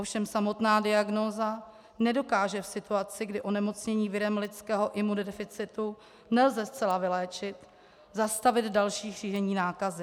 Ovšem samotná diagnóza nedokáže v situaci, kdy onemocnění virem lidského imunodeficitu nelze zcela vyléčit, zastavit další šíření nákazy.